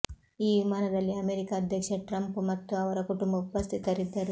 ಈ ವಿಮಾನದಲ್ಲಿ ಅಮೆರಿಕ ಅಧ್ಯಕ್ಷ ಟ್ರಂಪ್ ಮತ್ತು ಅವರ ಕುಟುಂಬ ಉಪಸ್ಥಿತರಿದ್ದರು